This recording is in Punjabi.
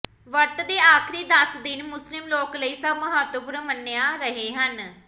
ਵਰਤ ਦੇ ਆਖਰੀ ਦਸ ਦਿਨ ਮੁਸਲਿਮ ਲੋਕ ਲਈ ਸਭ ਮਹੱਤਵਪੂਰਨ ਮੰਨਿਆ ਰਹੇ ਹਨ